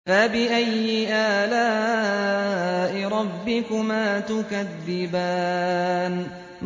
فَبِأَيِّ آلَاءِ رَبِّكُمَا تُكَذِّبَانِ